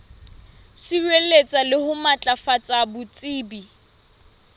sireletsa le ho matlafatsa botsebi